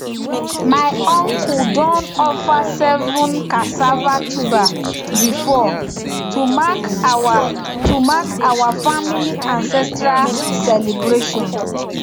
my uncle don offer seven cassava tuber before to mark our to mark our family ancestral celebration